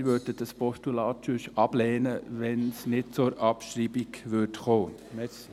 Wir würden das Postulat sonst ablehnen, sollte es nicht zur Abschreibung kommen.